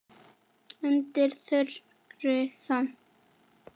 Undir þungri sæng